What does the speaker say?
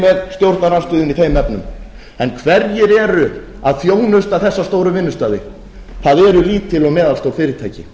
stjórnarandstöðunni í þeim efnum en hverjir eru að þjónusta þessa stóru vinnustaði það eru lítil og meðalstór fyrirtæki